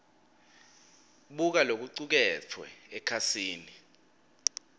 buka lokucuketfwe ekhasini